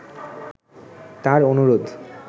তার অনুরোধ